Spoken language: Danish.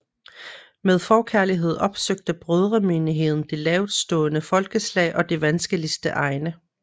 Med forkærlighed opsøgte Brødremenigheden de laveststående folkeslag og de vanskeligste egne